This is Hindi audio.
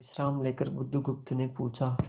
विश्राम लेकर बुधगुप्त ने पूछा